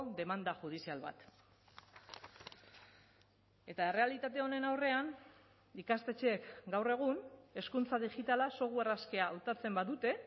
demanda judizial bat eta errealitate honen aurrean ikastetxeek gaur egun hezkuntza digitala software askea hautatzen badute